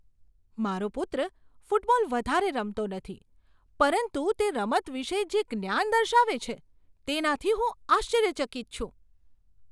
મારો પુત્ર ફૂટબોલ વધારે રમતો નથી પરંતુ તે રમત વિશે જે જ્ઞાન દર્શાવે છે, તેનાથી હું આશ્ચર્યચકિત છું.